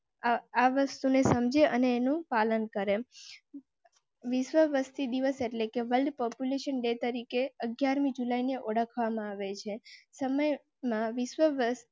આ વસ્તુ ને સમજે અને નું પાલન કરેં. વિશ્વ વસ્તી દિવસ એટલે કે વર્લ્ડ પોપ્યુલેશન ડે તરીકે અગિયાર મી જુલાઈ ને ઓળખવા માં આવે છે. સમય માં વિશ્વ વસ્તી